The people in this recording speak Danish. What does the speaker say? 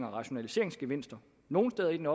og rationaliseringsgevinster nogle steder i den